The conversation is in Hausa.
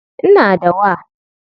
Ina da wa.